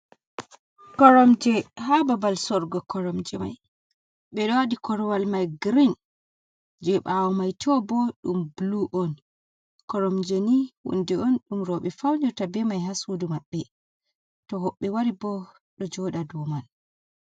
Koromje ha babal sorga koramje mai be lodi korwal mai green je bawo mai to bo dum blu on koromje ni wunde on dum robe faunirta be mai ha sudu mabbe to hobbe wari bo do joda do man